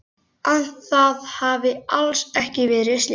Að það hafi alls ekki verið slys.